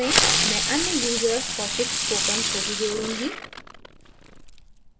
मैं अन्य user kaushikspoken को भी जोड़ूँगी